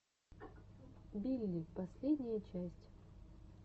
билли последняя часть